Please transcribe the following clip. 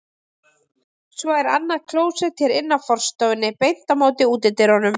Svo er annað klósett hér inn af forstofunni, beint á móti útidyrunum.